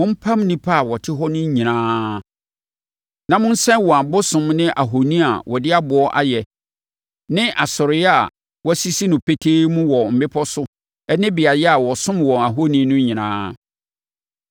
mompam nnipa a wɔte hɔ no nyinaa na monsɛe wɔn abosom ne ahoni a wɔde aboɔ ayɛ ne asɔreeɛ a wɔasisi no petee mu wɔ mmepɔ so ne beaeɛ a wɔsom wɔn ahoni no nyinaa.